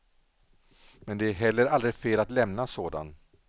Men det är heller aldrig fel att lämna sådan.